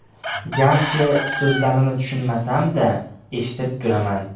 Garchi, so‘zlarini tushunmasam-da, eshitib turaman.